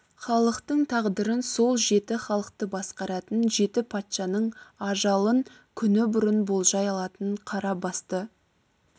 халықтың тағдырын сол жеті халықты басқаратын жеті патшаның ажалын күні бұрын болжай алатын қара басты